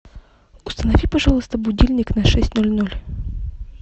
установи пожалуйста будильник на шесть ноль ноль